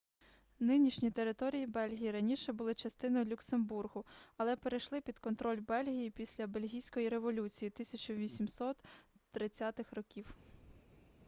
нинішні території бельгії раніше були частиною люксембургу але перейшли під контроль бельгії після бельгійської революції 1830-х років